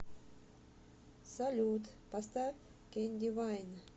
салют поставь кэнди вайн